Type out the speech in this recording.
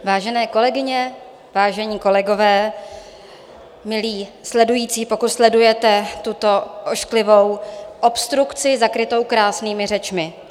Vážené kolegyně, vážení kolegové, milí sledující, pokud sledujete tuto ošklivou obstrukci, zakrytou krásnými řečmi.